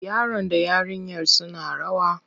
Yaron da yarinyar suna rawa.